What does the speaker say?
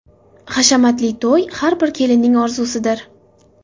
Hashamatli to‘y har bir kelinning orzusidir.